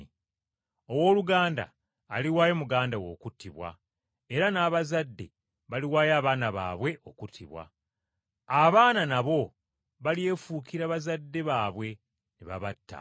“Owooluganda aliwaayo muganda we okuttibwa era n’abazadde baliwaayo abaana baabwe okuttibwa. Abaana nabo balyefuukira bazadde baabwe ne babatta.